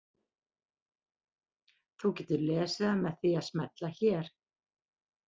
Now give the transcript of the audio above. Þú getur lesið það með því að smella hér.